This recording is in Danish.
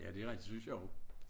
Ja det rigtig det synes jeg og